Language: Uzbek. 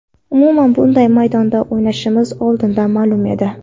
Umuman bunday maydonda o‘ynashimiz oldindan ma’lum edi.